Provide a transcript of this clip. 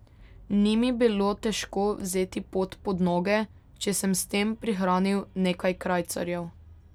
Ni mi bilo težko vzeti pot pod noge, če sem s tem prihranil nekaj krajcarjev.